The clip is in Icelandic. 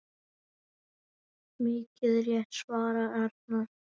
Mikið rétt svarar Arnar.